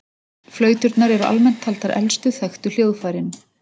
Flauturnar eru almennt taldar elstu þekktu hljóðfærin.